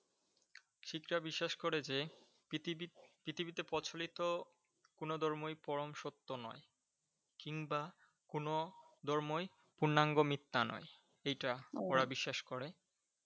শিখরা বিশ্বাস করা যে পৃথিবী~ পৃথিবীতে প্রচলিত কোন ধর্মই পরম সত্য নয় কিংবা কোনো ধর্মই পূর্ণাঙ্গ মিথ্যা নয় এইটা ওরা বিশ্বাস করে।